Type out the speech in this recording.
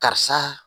Karisa